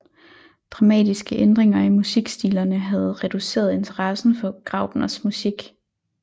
Dramatiske ændringer i musikstilerne havde reduceret interessen for Graupners musik